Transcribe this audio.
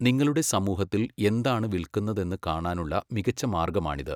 നിങ്ങളുടെ സമൂഹത്തിൽ എന്താണ് വിൽക്കുന്നതെന്ന് കാണാനുള്ള മികച്ച മാർഗമാണിത്.